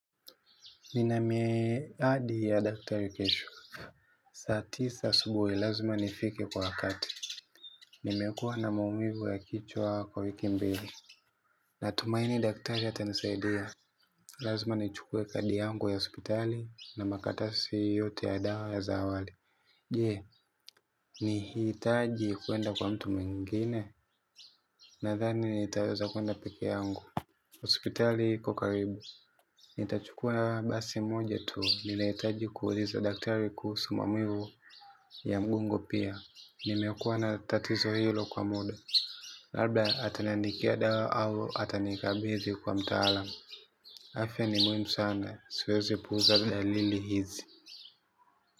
Nina miadi ya daktari kesho. Saa tisa asubuhi lazima nifike kwa wakati. Nimekuwa na maumivu ya kichwa kwa wiki mbili. Natumaini daktari atanisaidia. Lazima nichukue kadi yangu ya hospitali na makaratasi yote ya dawa za awali. Je, nihitaji kuenda kwa mtu mwingine. Nadhani nitaweza kuenda peke yangu. Hospitali iko karibu. Nitachukua basi moja tu nitahitaji kuuliza daktari kuhusu maumivu ya mgongo pia. Nimekuwa na tatizo hilo kwa muda. Labda ataniandikia dawa au atanikabidhi kwa mtaalam. Afya ni muhimu sana. Siwezi puuza dalili hizi.